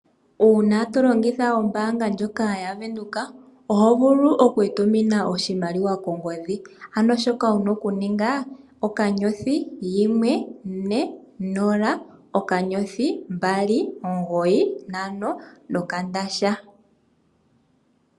Uuna tatu longitha ombaanga ndjoka yaVenduka, oho vulu oku itumina oshimaliwa kongodhi ano shoka wuna oku ninga, *140*295#.